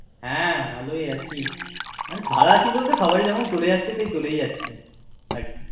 হ্যাঁ ভালোই আছি। ভালো আছি বলতে সবার যেমন চলে যাচ্ছে বলতে সেই চলেই যাচ্ছে